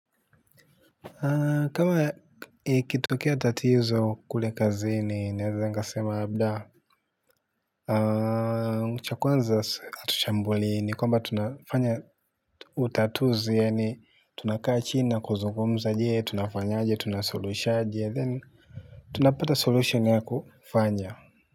Kama ikitokea tatizo kule kazini neweza nikasema labda cha kwanza hatuchambuli ni kwamba tunafanya utatuzi yaani tunakaa chini kuzungumza je tunafanya aje tunasuluhishaje then. Tunapata solution ya kufanya.